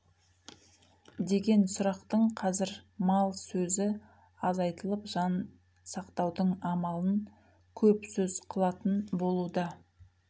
деген сұрақтың қазір мал сөзі азайтылып жан сақтаудың амалын көп сөз қылатын болуда